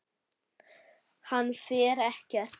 Hann fer ekkert.